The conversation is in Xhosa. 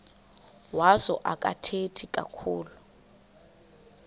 wazo akathethi kakhulu